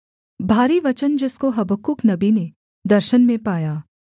भारी वचन जिसको हबक्कूक नबी ने दर्शन में पाया